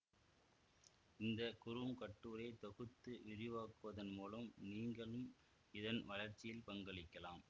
இந்த குறுங்கட்டுரையை தொகுத்து விரிவாக்குவதன் மூலம் நீங்களும் இதன் வளர்ச்சியில் பங்களிக்கலாம்